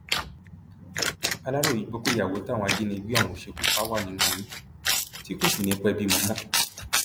aláròye gbọ pé ìyàwó táwọn ajìnígbé ọhún ṣekú pa wà nínú oyún tí kò sì ní í pẹẹ bímọ mọ